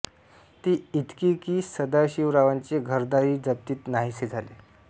ती इतकी की सदाशिवरावांचे घरदारही जप्तीत नाहीसे झाले